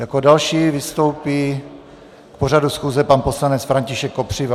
Jako další vystoupí k pořadu schůze pan poslanec František Kopřiva.